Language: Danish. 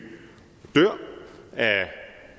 og dør af